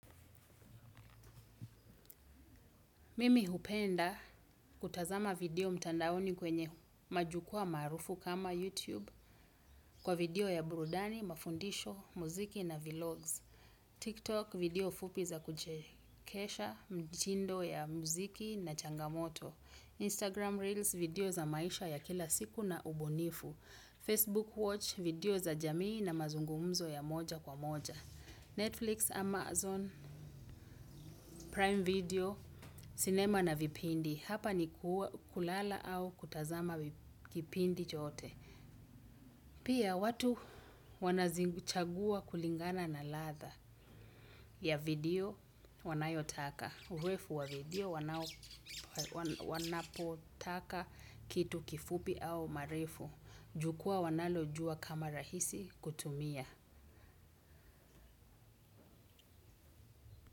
Mimi hupenda kutazama video mtandaoni kwenye majukwaa maarufu kama YouTube kwa video ya burudani, mafundisho, muziki na vlogs. TikTok video fupi za kuchekesha, mtindo ya muziki na changamoto. Instagram Reels, video za maisha ya kila siku na ubunifu. Facebook huwatch video za jamii na mazungumzo ya moja kwa moja. Netflix, Amazon, Prime Video, sinema na vipindi. Hapa ni kulala au kutazama kipindi chote. Pia watu wanazichagua kulingana na ladha ya video wanayotaka. Urefu wa video wanapotaka kitu kifupi au marefu. Jukwaa wanalojua kama rahisi kutumia.